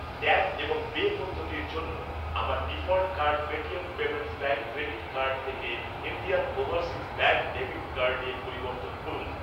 Tap এবং pay পদ্ধতির জন্য আমার default card Paytm payments bank credit card থেকে ইন্ডিয়ান ওভারসিজ ব্যাঙ্ক ডেবিট কার্ডে পরিবর্তন করুন।